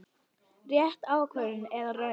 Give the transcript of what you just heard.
Rétt ákvörðun eða röng?